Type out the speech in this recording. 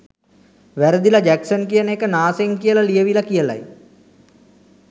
වැරදිල Jackson කියන එක නාසෙන් කියල ලියවිල කියලයි